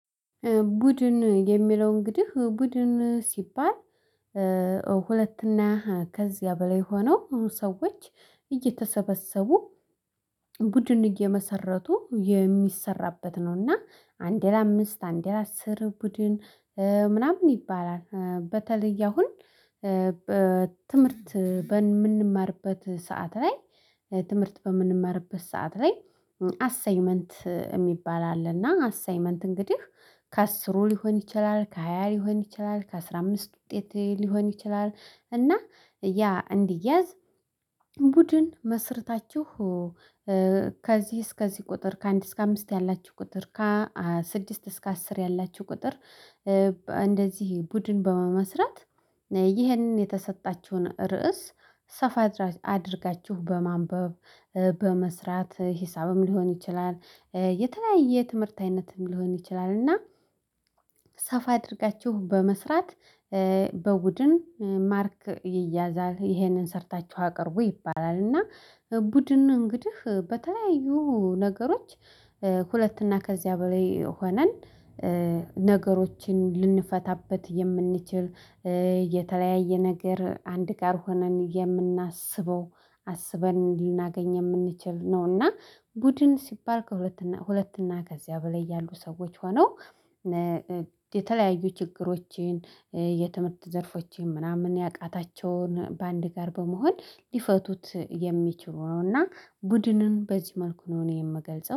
ቡድን የሚለው እንግዲህ ቡድን ሲባል ሁለት እና ከዚያ በላይ ሆነው ሰዎች እየተሰበሰቡ ቡድን እየመሰረቱ የሚሰራበት ነው። እና አንድ ለአምስት አንድ ለአስር ቡድን ምናምን ይባላል። በተለይ አሁን በትምህርት በምንማርበት ሰዓት ላይ ትምህርት በምንመርበት ሰዓት ላይ አሳይመንት የሚባል አለና አሳይመንት እንግዲህ ከአስሩ ሊሆን ይችላል ከሃያ ሊሆን ይችላል ከአስራ አምስት ውጤት ሊሆን ይችላል። እና ያ እንዲያዝ ቡድን መስርታችሁ ከዚህ እስከዚህ ቁጥር ከአንድ እስከ አምስት ያላችሁ ቁጥር ከ ስድስት እስከ አስር ያላችሁ ቁጥር እንደዚህ ቡድን በመመስረት። ይህንን የተሰጣችሁን ርዕስ ሰፋ አድርጋችሁ በማንበብ በመስራት ሂሳብም ሊሆን ይችላል የተለያየ ትምህርት አይነትም ሊሆን ይችላል እና ሰፋ አድርጋችሁ በመስራት በቡድን ማርክ ይያዛል ይሄንን ሰርታችሁ አቅርቡ ይባላል። እና ቡድን እንግዲህ በተለያዩ ነገሮች ሁለት እና ከዚያ በላይ ሆነን ነገሮችን ልንፈታበት የምንችል የተለያየ ነገር አንድ ጋር ሆነን የምናስበው አስበን ልናገኝ የምንችል ነው። እና ቡድን ሲባል ከሁለት ሁለት እና ከዚያ በላይ ያሉ ሰዎች ሆነው የተለያዩ ችግሮችን የትምህርት ዘርፎቼን ምናምን ያቃታቸውን በአንድ ጋር በመሆን ሊፈቱት የሚችሉ ነው። እና ቡድንን በዚህ መልኩ ነው እኔ የምገልጸው